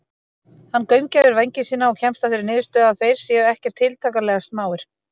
Hann gaumgæfir vængi sína og kemst að þeirri niðurstöðu að þeir séu ekkert tiltakanlega smáir.